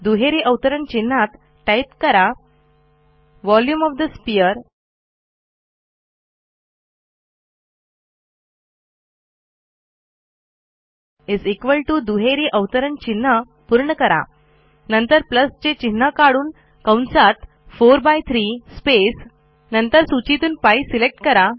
दुहेरी अवतरण चिन्हात टाईप करा टाईप करा व्हॉल्यूम ओएफ ठे स्फिअर दुहेरी अवतारण चिन्ह पूर्ण करा नंतर प्लस चे चिन्ह काढून कंसात 43 स्पेस नंतर सूचीतून π सिलेक्ट करा